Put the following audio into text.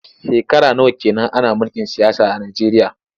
Shekara nawa ke nan ana mulkin siyasa a Nijeriya?